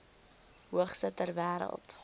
hoogste ter wêreld